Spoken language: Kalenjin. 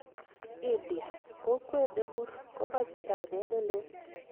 India: kokwet 'nemur' komoche kainet neleel.